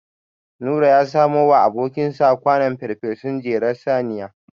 Nura ya samowa abokinsa kwanon farfesun jelar saniya.